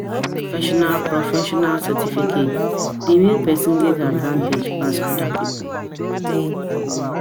Professional Professional certification dey make pesin get advantage pass other people.